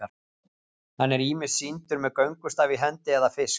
Hann er ýmist sýndur með göngustaf í hendi eða fisk.